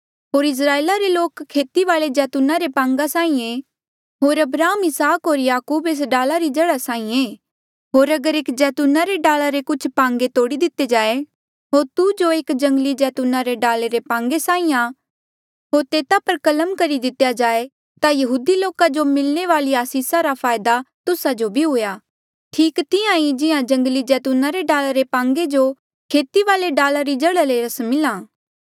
होर इस्राएला रे लोक खेती वाले जैतूना रे पांगे साहीं ऐ होर अब्राहम इसहाक होर याकूब एस डाला री जड़ा साहीं आ होर अगर एस जैतूना रे डाला रे कुछ पांगे तोड़ी दिते जाए होर तू जो एक जंगली जैतूना रे डाला रे पांगे साहीं आ होर तेता पर कलम करी दिती जाए ता यहूदी लोका जो मिलणे वाली आसिसा रा फायदा तुस्सा जो भी हुआ ठीक तिहां ही जिहां जंगली जैतूना रे डाला रे पांगे जो खेती वाले डाला री जड़ा ले रस मिला